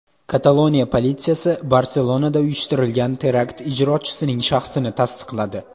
Kataloniya politsiyasi Barselonada uyushtirilgan terakt ijrochisining shaxsini tasdiqladi.